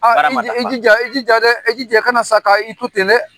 Baara ma dafa i jija i jija dɛ i jija ka na sa ka i to ten